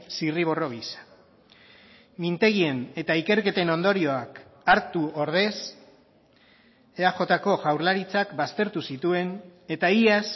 zirriborro gisa mintegien eta ikerketen ondorioak hartu ordez eajko jaurlaritzak baztertu zituen eta iaz